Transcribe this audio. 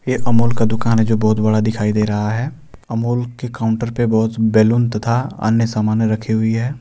यह अमूल का दुकान है जो बहुत बड़ा दिखाई दे रहा है अमूल के काउंटर पे बहुत बैलून तथा अन्य सामानें रखी हुई है।